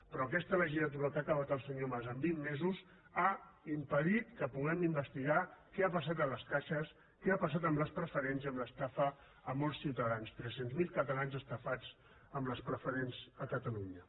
però aquesta legislatura que ha acabat el senyor mas en vint mesos ha impedit que puguem investigar què ha passat a les caixes què ha passat amb les preferents i amb l’estafa a molts ciutadans trescientos millar catalans estafats amb les preferents a catalunya